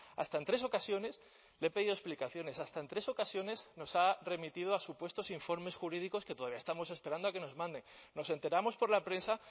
hasta en tres ocasiones le he pedido explicaciones hasta en tres ocasiones nos ha remitido a supuestos informes jurídicos que todavía estamos esperando a que nos mande nos enteramos por la prensa